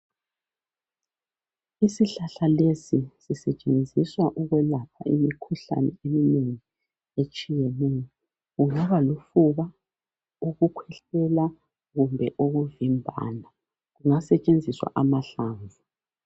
Isihlahla lesi sisetshenziswa ukwelapha imikhuhlane eminengi etshiyeneyo kungaba lufuba ukukhwehlela kumbe ukuvimbana kungasetshenziswa amahlamvu.